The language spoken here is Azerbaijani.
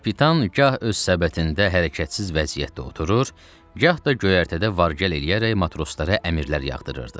Kapitan gah öz səbətində hərəkətsiz vəziyyətdə oturur, gah da göyərtədə vargəl eləyərək matroslara əmirlər yağdırırdı.